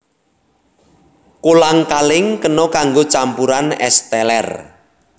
Kolang kaling kena kanggo campuran ès teler